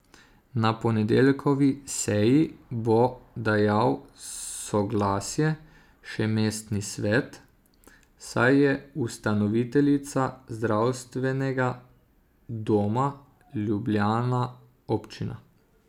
Na ponedeljkovi seji bo dajal soglasje še mestni svet, saj je ustanoviteljica Zdravstvenega doma Ljubljana občina.